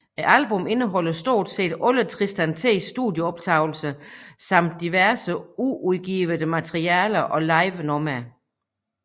Albummet indeholder stort set alle Tristan T studieoptagelser samt diverse uudgivet materiale og livenumre